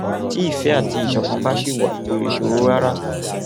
tí ìfẹ àti ìṣọkan bá ṣì wà kò lè ṣòro rárá